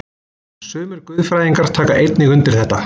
Sumir guðfræðingar taka einnig undir þetta.